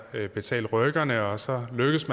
ved at betale rykkerne og så lykkes